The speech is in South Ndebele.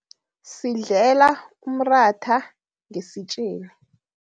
Sidlela umratha ngesitjeni.